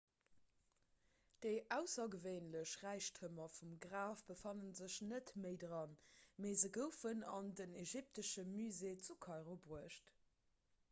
déi aussergewéinlech räichtemer vum graf befanne sech net méi dran mee se goufen an den ägyptesche musée zu kairo bruecht